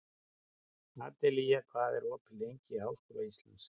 Adelía, hvað er opið lengi í Háskóla Íslands?